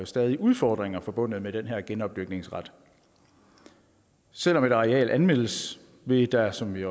stadig udfordringer forbundet med den her genopdyrkningsret selv om et areal anmeldes vil der som vi